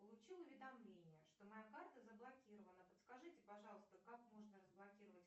получил уведомление что моя карта заблокирована подскажите пожалуйста как можно разблокировать